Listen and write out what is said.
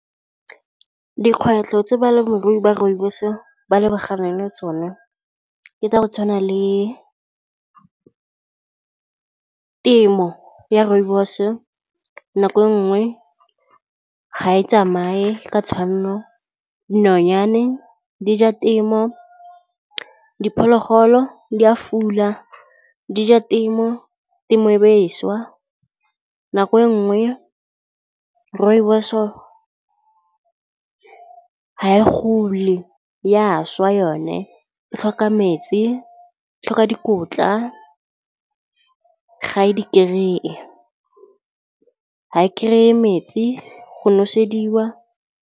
Dikgwetlho tse balemirui ba rooibos ba lebaganeng le tsone ke tsa go tshwana le temo ya rooibos nako nngwe ha e tsamaye ka tshwanno, nonyane di ja temo diphologolo di a fula di ja temo temo e beswa, nako e nngwe rooibos-o ha e gole ya swa yone e tlhoka metsi e tlhoka dikotla ga e di-kry-e ha e kry-e metsi go nosediwa.